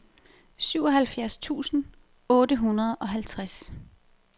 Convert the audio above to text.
syvoghalvfjerds tusind otte hundrede og halvtreds